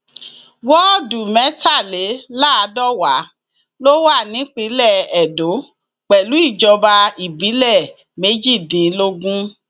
wọọdù mẹtàléláàdọwà ló wà nípìnlẹ edo pẹlú ìjọba ìbílẹ méjìdínlógún